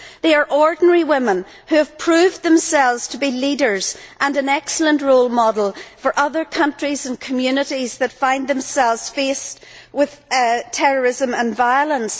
They are ordinary women who have proved themselves to be leaders and an excellent role model for other countries and communities that find themselves faced with terrorism and violence.